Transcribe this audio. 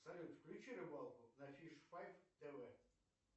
салют включи рыбалку на фиш файв тв